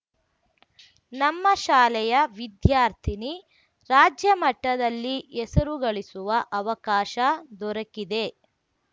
ನಮ್ಮ ಶಾಲೆಯ ವಿದ್ಯಾರ್ಥಿನಿ ರಾಜ್ಯಮಟ್ಟದಲ್ಲಿ ಹೆಸರು ಗಳಿಸುವ ಅವಕಾಶ ದೊರಕಿದೆ